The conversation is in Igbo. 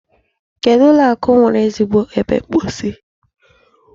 Kedụ ụlọ akụ nwere ezigbo ebe mposi?